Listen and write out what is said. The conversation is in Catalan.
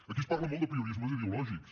aquí es parla molt d’apriorismes ideològics